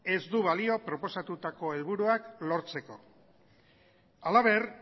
ez du balio proposatutako helburuak lortzeko halaber